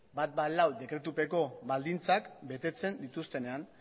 ehun eta hamalau dekretupeko baldintzak betetzen dituztenean